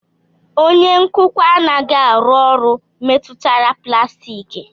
Onye nkụkwa anaghị arụ ọrụ metụtara plastiki